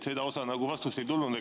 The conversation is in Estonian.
Sellele osale vastust ei tulnud.